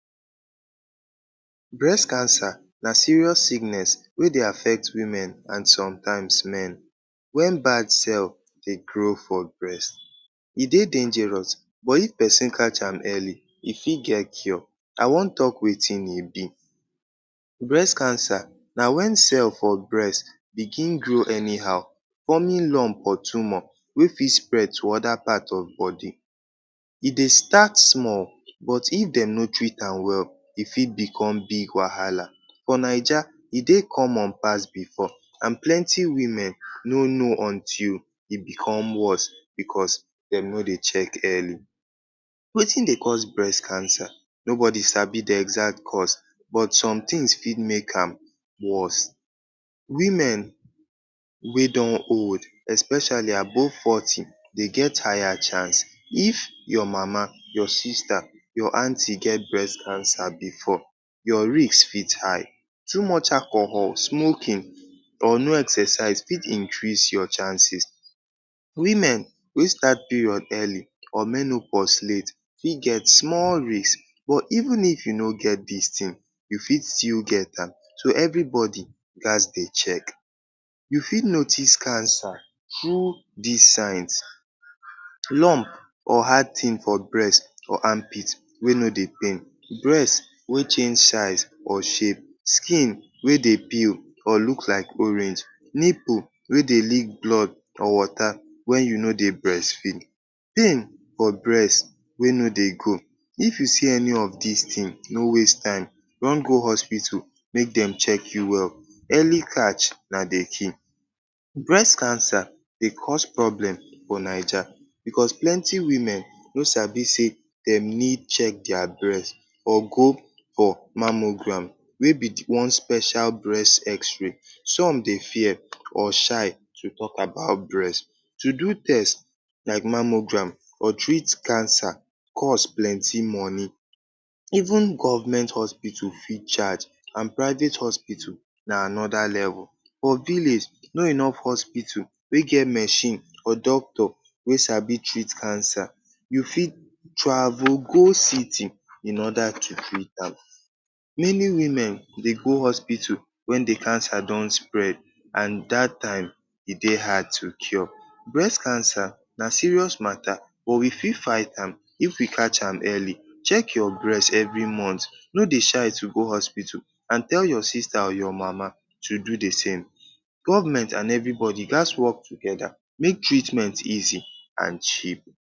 Breast cancer na serious sickness wey dey affect women and somtime men wen bad cells dey grow for breast. E dey dangerous but if pesin catch am early, e fit get cure. I wan talk wetin e be. Breast cancer na wen cell for breast begin grow anyhow forming lump or tumor wey fit spread to oda part of body. E dey start small but if dem no treat am well, e fit bicom big wahala. For Naija, e dey common pass bifor and plenty women no know until e bicom worse bicos dem no dey check early. Wetin dey cause breast cancer? Nobodi sabi di exact cause but some tins fit make am worse. Women wey don old especially above forty, dem get higher chance. If your mama, your sister, your aunty get breast cancer bifor, your risk fit high. Too much alcohol, smoking or no exercise fit increase your chances. Women wey start period early or menopause late fit get small risk. But even if you no get dis tin, you fit still get am so evribodi gats dey check. You fit notice cancer true dis signs: lump or hard tin for breast or armpit wey no dey pain, breast wey change size or shape, skin wey dey pale or look like orange, nipple wey dey leak blood or water wen you no dey breastfeed, pain for breast wey no dey go. If you see any of dis tin, no waste time, run go hospital make dem check you well. Early catch na dey key. Breast cancer dey cause problem for Naija bicos plenty women no sabi say dem need check dia breast or go for mammogram wey be one special breast xray. Some dey fear or shy to talk about breast. To do test like mammogram or treat cancer cost plenty money. Even government hospital fit charge and private hospital na anoda level. For village, no enough hospital wey get machine or doctor wey sabi treat cancer. You fit travel go city in order to treat am. Many women dey go hospital wen di cancer don spread and dat time e dey hard to cure. Breast cancer na serious matta but we fit fight am if we catch am early. Check your breast evri month, no dey shy to go hospital and tell your sister or your mama to do di same. Government and evribodi gats wok togeda make treatment easy and cheap.